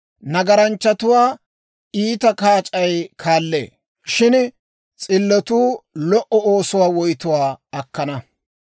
Nagaranchchatuwaa iita kaac'ay kaallee; shin s'illotuu lo"o oosuwaa woytuwaa akkana.